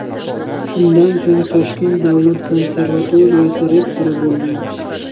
Shundan so‘ng Toshkent davlat konservatoriyasi rektori bo‘lgan.